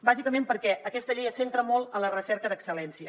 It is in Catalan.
bàsicament perquè aquesta llei es centra molt en la recerca d’excel·lència